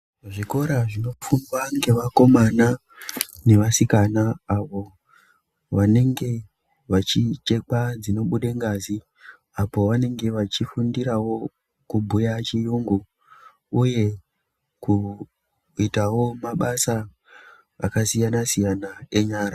Zvikora zvinofundwa ngevakomana nevasikana avo vanenge vachichekwa dzinobuda ngazi apo vanenge vachifundirawo kubhuya chiyungu uye kuitawo mabasa akasiyana-siyana enyara.